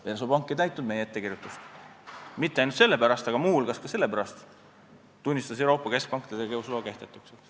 Versobank ei täitnud meie ettekirjutust ning mitte ainult selle pärast, aga muu hulgas selle pärast tunnistas Euroopa Keskpank ta tegevusloa kehtetuks.